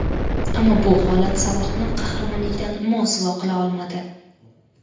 Ammo bu holat Salohni qahramonlikdan mosuvo qila olmadi.